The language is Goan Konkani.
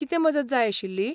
कितें मजत जाय आशिल्ली?